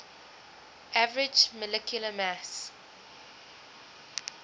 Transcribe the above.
average molecular mass